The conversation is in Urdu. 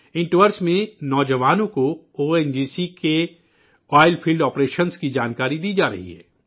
ان دوروں میں، نوجوانوں کو او این جی سی کے آئل فیلڈ آپریشنز کی معلومات فراہم کرائی جارہی ہے